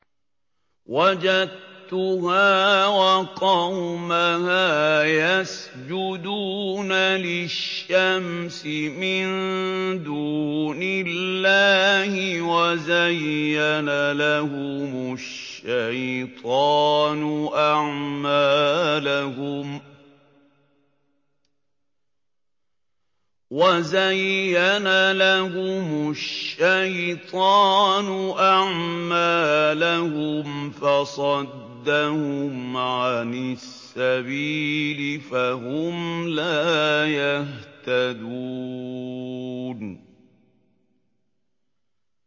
وَجَدتُّهَا وَقَوْمَهَا يَسْجُدُونَ لِلشَّمْسِ مِن دُونِ اللَّهِ وَزَيَّنَ لَهُمُ الشَّيْطَانُ أَعْمَالَهُمْ فَصَدَّهُمْ عَنِ السَّبِيلِ فَهُمْ لَا يَهْتَدُونَ